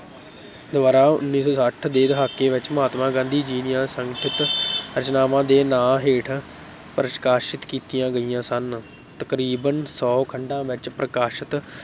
ਦੁਆਰਾ ਉੱਨੀ ਸੌ ਛੱਠ ਦੇ ਦਹਾਕੇ ਵਿੱਚ ਮਹਾਤਮਾ ਗਾਂਧੀ ਜੀ ਦੀਆਂ ਸੰਗ੍ਰਹਿਤ ਰਚਨਾਵਾਂ ਦੇ ਨਾਂ ਹੇਠ ਪ੍ਰਕਾਸ਼ਿਤ ਕੀਤੀਆਂ ਗਈਆਂ ਸਨ, ਤਕਰੀਬਨ ਸੌ ਖੰਡਾਂ ਵਿੱਚ ਪ੍ਰਕਾਸ਼ਤ